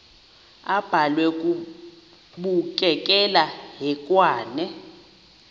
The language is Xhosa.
abhalwe bukekela hekwane